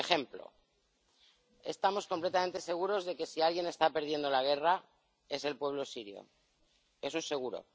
Por ejemplo estamos completamente seguros de que si alguien está perdiendo la guerra es el pueblo sirio, eso es seguro.